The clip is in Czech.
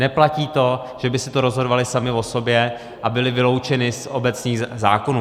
Neplatí to, že by si to rozhodovaly samy o sobě a byly vyloučeny z obecních zákonů.